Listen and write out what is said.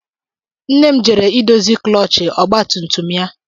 Nna m jere idozi klọọch ọgba tum tum ya.